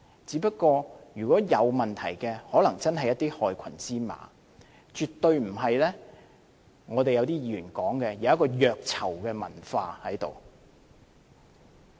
只是如果有問題，可能真是有一些害群之馬，絕對不是好像一些議員所說，有一個虐囚的文化存在。